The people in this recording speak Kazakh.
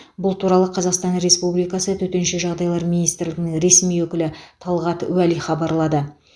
бұл туралы қазақстан республикасы төтенше жағдайлар министрлігінің ресми өкілі талғат уәли хабарлады